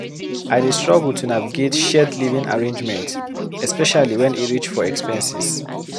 I dey struggle to navigate shared living arrangement, especially when e reach for expenses.